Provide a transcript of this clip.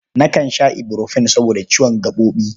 Nakan sha iburfen saboda ciwon gaɓoɓi.